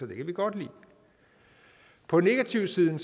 kan vi godt lide på negativsiden